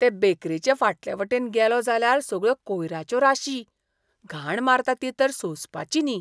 ते बेकरेचे फाटले वटेन गेलों जाल्यार सगळ्यो कोयराच्यो राशी! घाण मारता ती तर सोंसपाची न्ही.